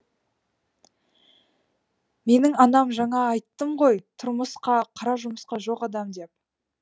менің анам жаңа айттым ғой тұрмысқа қара жұмысқа жоқ адам деп